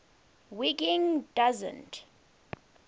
wiggin doesn t